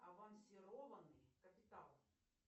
авансированный капитал